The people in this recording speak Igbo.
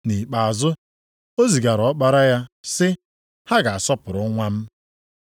Nʼikpeazụ o zigara ọkpara ya, sị, ‘Ha ga-asọpụrụ nwa m.’